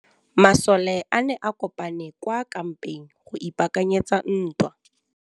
Masole a ne a kopane kwa kampeng go ipaakanyetsa ntwa.